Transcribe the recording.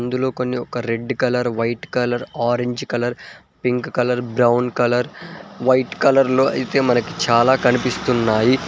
ఇందులో కొన్ని ఒక red colour white colour orange colour pink colour brown colour white colour లో అయితే మనకి చాలా కనిపిస్తున్నాయి.